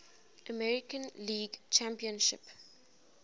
american league championship